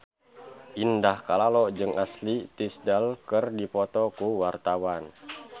Indah Kalalo jeung Ashley Tisdale keur dipoto ku wartawan